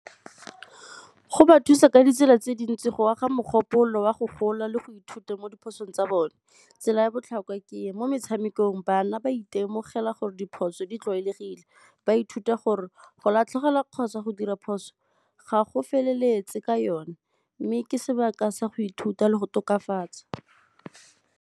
Go ba thusa ka ditsela tse dintsi go aga mogopolo wa go gola le go ithuta mo diphosong tsa bone. Tsela ya botlhokwa ke e, mo metshamekong bana ba itemogela gore diphoso di tlwaelegile, ba ithuta gore go latlhegelwa kgotsa go dira phoso ga go feleletse ka yone mme ke sebaka sa go ithuta le go tokafatsa.